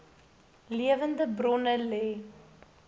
lewende bronne lê